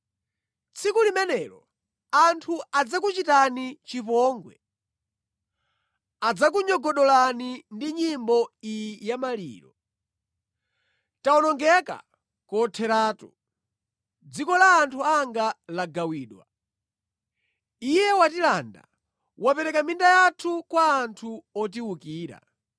Tsiku limenelo anthu adzakuchitani chipongwe; adzakunyogodolani ndi nyimbo iyi yamaliro: ‘Tawonongeka kotheratu; dziko la anthu anga lagawidwa. Iye wandilanda! Wapereka minda yathu kwa anthu otiwukira.’ ”